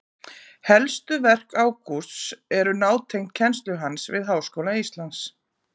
Helstu verk Ágústs eru nátengd kennslu hans við Háskóla Íslands.